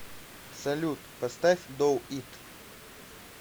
салют поставь ду ит